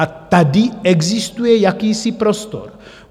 A tady existuje jakýsi prostor.